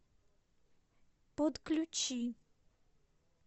подключи